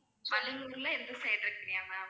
வண்டலூர்ல எந்த side இருக்கீங்க ma'am